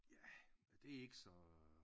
Ja det er ikke så øh